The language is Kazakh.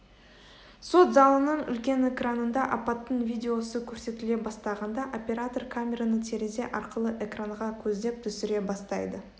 сот залының үлкен экранында апаттың видеосы көрсетіле бастағанда оператор камераны терезе арқылы экранға көздеп түсіре бастайды